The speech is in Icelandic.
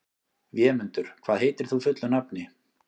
Vémundur, hvað heitir þú fullu nafni?